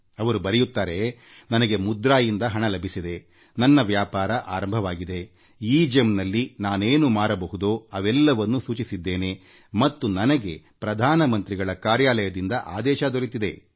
ಅವರು ಬರೆಯುತ್ತಾರೆ ನನಗೆಮುದ್ರಾದಿಂದ ಸಾಲ ಲಭಿಸಿದೆ ನನ್ನ ವ್ಯಾಪಾರ ಆರಂಭವಾಗಿದೆ ಎಗೆಮ್ ಅಂತರ್ಜಾಲ ತಾಣದಲ್ಲಿ ಏನೇನು ಮಾರಬಹುದೋ ಅವೆಲ್ಲವನ್ನೂ ನಮೂದಿಸಿದ್ದೇನೆ ಮತ್ತು ನನಗೆ ಪ್ರಧಾನ ಮಂತ್ರಿಗಳ ಕಾರ್ಯಾಲಯದಿಂದ ಅರ್ಡರ್ ದೊರೆತಿದೆ ಎಂದು ಹೇಳಿದ್ದಾರೆ